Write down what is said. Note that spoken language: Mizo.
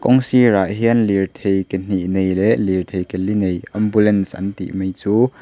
kawng sirah hian lirthei ke hnih nei leh lirthei ke li nei ambulance kan tih mai chu--